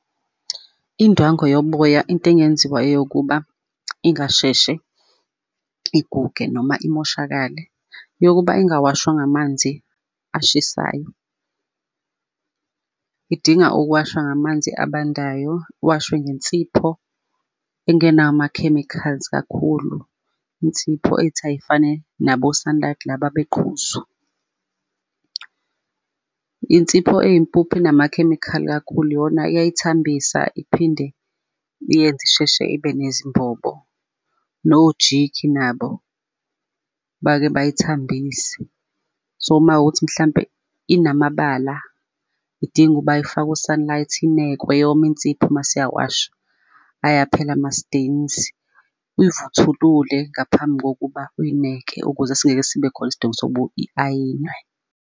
Indwangu yoboya into engenziwa yokuba ingasheshe iguge noma imoshakale, yokuba ingawashwa ngamanzi ashisayo. Idinga ukuwashwa ngamanzi abandayo, washwe ngensipho engenawo ama-chemicals kakhulu, insipho ethi ayifane nabo-sunlight laba beqhuzu. Insipho eyimpuphu enama-chemical kakhulu iyona iyayithambisa iphinde iyenze isheshe ibe nezimbobo, no-jik nabo bake bayithambise. So makuwukuthi mhlampe inamabala idinga ukuba ifakwe u-sunlight inekwe yome insipho mase uyawashwa, ayaphela ama-stains, uyivuthulule ngaphambi kokuba uyineke ukuze singeke sibe khona isidingo sokuba i-ayinwe.